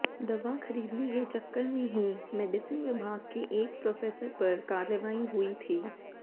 दवा खरीदने के चक्कर में ही मेडिसिन विभाग के एक प्रोफेसर पर कार्रवाई हुई थी